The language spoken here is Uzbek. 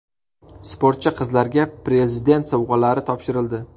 Sportchi qizlarga Prezident sovg‘alari topshirildi.